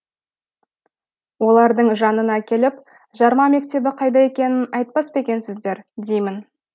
олардың жанына келіп жарма мектебі қайда екенін айтпас па екенсіздер деймін